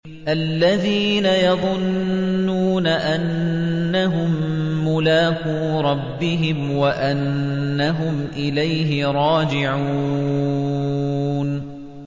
الَّذِينَ يَظُنُّونَ أَنَّهُم مُّلَاقُو رَبِّهِمْ وَأَنَّهُمْ إِلَيْهِ رَاجِعُونَ